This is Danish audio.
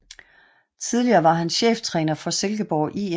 Tidligere var han cheftræner for Silkeborg IF